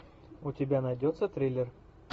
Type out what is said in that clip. у тебя найдется триллер